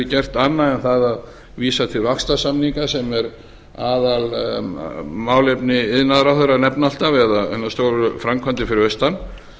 gert annað en það að vísa til vaxtarsamninga sem er aðalmálefni iðnaðarráðherra að nefna alltaf eða hinar stóru framkvæmdir fyrir austan